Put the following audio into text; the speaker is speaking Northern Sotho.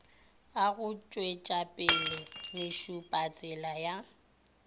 a go tšwetšapele mešupatsela ya